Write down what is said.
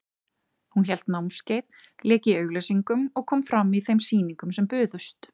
Hún hélt námskeið, lék í auglýsingum og kom fram í þeim sýningum sem buðust.